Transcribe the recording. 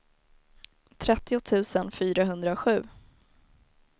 trettio tusen fyrahundrasju